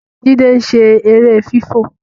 Jide ń ṣe èrè fifọ